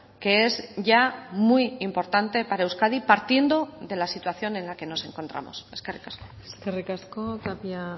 que es ya muy importante para euskadi partiendo de la situación en la que nos encontramos eskerrik asko eskerrik asko tapia